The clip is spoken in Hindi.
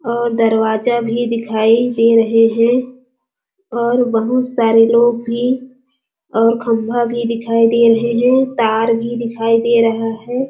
और दरवाजा भी दिखाई दे रहे है और बहुत सारे लोग भी और खंभा भी दिखाई दे रहे है तार भी दिखाई दे रहा हैं।